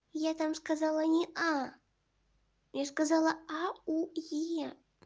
я там сказала не а я сказала а у е